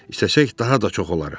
İstəsək, daha da çox olarıq.